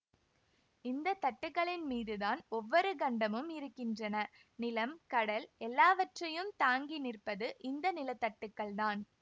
இந்த தட்டுக்களின்மீதுதான் ஒவ்வொரு கண்டமும் இருக்கின்றன நிலம் கடல் எல்லாவற்றையும் தாங்கி நிற்பது இந்த நிலத்தட்டுக்கள் தான்